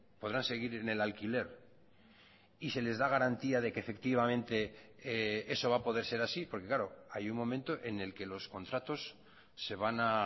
podrán seguir en el alquiler y se les da garantía de que efectivamente eso va a poder ser así porque claro hay un momento en el que los contratos se van a